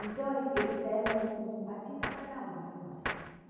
Então, a gen, eles deram um um patinho para cada um, para nós.